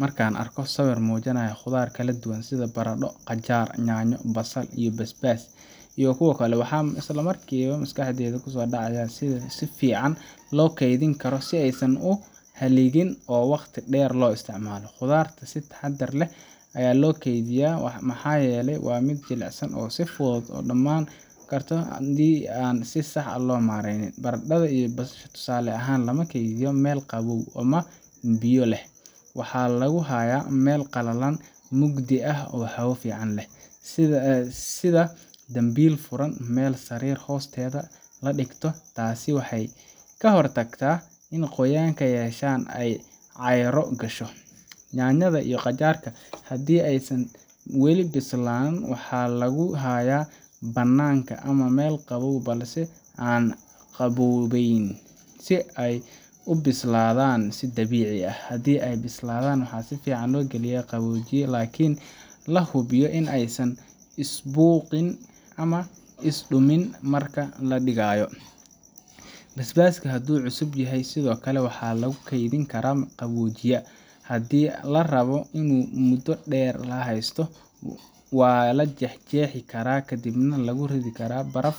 Marka aan arko sawir muujinaya khudaar kala duwan sida baradho, qajaar, yaanyo, basal iyo basbaas iyo kuwa kale, waxaan isla markiiba ka fikirayaa sida ugu fiican ee loo kaydin karo si aysan u halligin oo waqti dheer loo isticmaalo. Khudradda waa in si taxaddar leh loo kaydiyaa, maxaa yeelay waa mid jilicsan oo si fudud u dhammaan karta haddii aan si sax ah loo maareyn. Baradhada iyo basalaha, tusaale ahaan, lama kaydiyo meel qabow ama biyo leh. Waxaa lagu hayaa meel qallalan, mugdi ah, oo hawo leh sida dambiil furan ama meel sariir hoosteeda la dhigto. Taasi waxay ka hortagtaa in ay qoyaan yeeshaan ama caaryo gasho. Yaanyada iyo qajaarka, haddii aysan weli bislaan, waxaa lagu hayaa banaanka ama meel qabow balse aan aad u qaboobayn, si ay u sii bislaadaan si dabiici ah. Haddii ay bislaadaan, waxaa fiican in la geliyo qaboojiye, laakiin la hubiyo in aysan isbuuqin ama isdumin marka la dhigayo. Basbaaska, haddii uu cusub yahay, sidoo kale waxaa lagu kaydin karaa qaboojiyaha. Haddii la rabo in muddo dheer la haysto, waa la jeexjeexi karaa kadibna lagu ridi karaa baraf